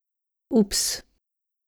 Ups!